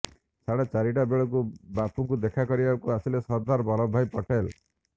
ସାଢେ ଚାରି ଟା ବେଳକୁ ବାପୁଙ୍କୁ ଦେଖା କରିବାକୁ ଆସିଲେ ସର୍ଦ୍ଦାର ବଲ୍ଲଭଭାଇ ପଟେଲ